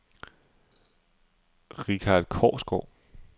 Richard Korsgaard